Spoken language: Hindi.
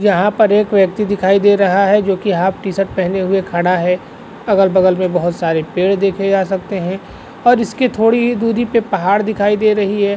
यहाँ पर एक व्यक्ति दिखाई दे रहा है जो कि हाफ टी शर्ट पहने हुए खड़ा है अगल-बगल में बहुत सारे पेड़ देखे जा सकते हैं और इसके थोड़ी ही दूरी पे पहाड़ दिखाई दे रही है।